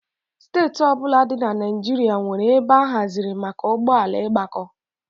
Steeti ọ bụla dị na Naịjirịa nwere ebe a haziri maka ụgbọ ala ịgbakọ.